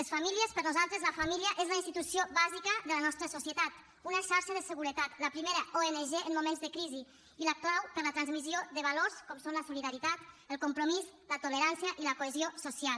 les famílies per nosaltres la família és la institució bàsica de la nostra societat una xarxa de seguretat la primera ong en moments de crisi i la clau per a la transmissió de valors com són la solidaritat el compromís la tolerància i la cohesió social